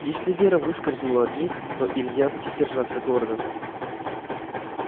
если вера выскользнула от них то илья будет держаться гордо